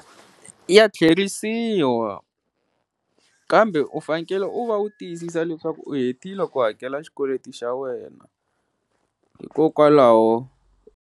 Ya tlheriseriwa kambe u fanekele u va u tiyisisa leswaku u hetile ku hakela xikweleti xa wena hikokwalaho.